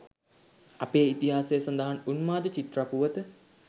අපේ ඉතිහාසයේ සඳහන් උන්මාද චිත්‍රා පුවත